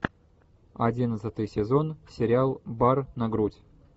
одиннадцатый сезон сериал бар на грудь